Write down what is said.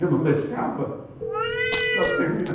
Eu não deixava ela terminar.